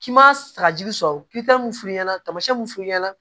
K'i ma sagajigi sɔrɔ ki m'u f'u ɲɛna tamasiyɛn mun f'u ɲɛna